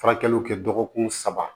Furakɛliw kɛ dɔgɔkun saba